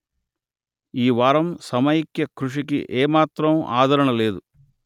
ఈ వారం సమైక్య కృషికి ఏ మాత్రం ఆదరణ లేదు